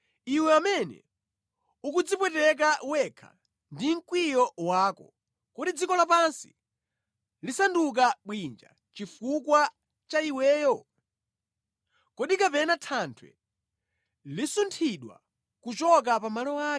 Iwe amene ukudzipweteka wekha ndi mkwiyo wako, kodi dziko lapansi lisanduke bwinja chifukwa cha iweyo? Kodi kapena thanthwe lisunthidwe kuchoka pa malo ake?